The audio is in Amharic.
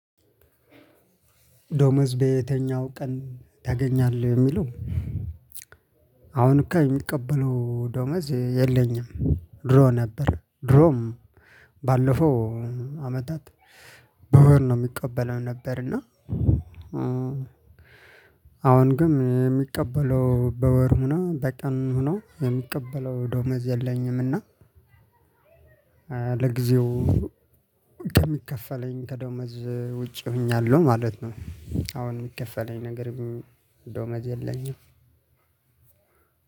ደሞዝ በየተኛው ቀን ታገኛለህ? የሚለው፣ አሁን የምቀበለው ደሞዝ የለኝም። ድሮ ነበር ድሮም ባለፈው አመታት በወር ነው የምቀበለው የነበር እና አሁን ግን የምቀበለው በወር ሆኖ በቀንም ሆኖ የምቀበለው ደሞዝ የለኝም። እና ለጊዜው ከሚከፈለኝ ከደሞዝ ውጪ ሆኛለሁ ማለት ነው። አሁን የሚከፈለኝ ነገር ደሞዝ የለኝም።